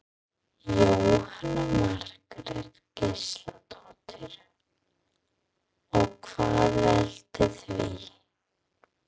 Jóhanna Margrét Gísladóttir: Og hvað veldur því?